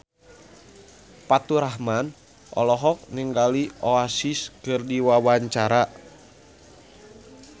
Faturrahman olohok ningali Oasis keur diwawancara